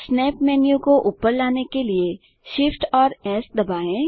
snap menu को ऊपर लाने के लिए Shift और एस दबाएँ